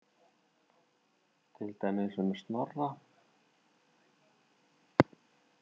Til dæmis um Snorra?